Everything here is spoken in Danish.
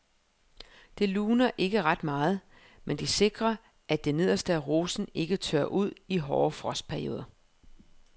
Det luner ikke ret meget, men det sikrer at det nederste af rosen ikke tørrer ud i hårde frostperioder.